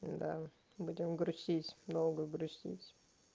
да будем грустить долго грустить